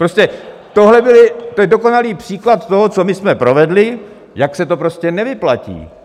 Prostě tohle je dokonalý příklad toho, co my jsme provedli, jak se to prostě nevyplatí.